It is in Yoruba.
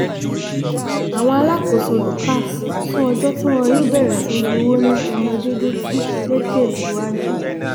àwọn alákòóso lukasz sún ọjọ́ tí wọn yóò bẹ̀rẹ̀ sí í gbowó ní tọmọdéétì lẹ́kẹ́ síwájú